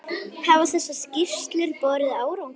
Hafa þessar skýrslur borið árangur?